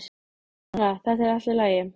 Kamilla, þetta er allt í lagi.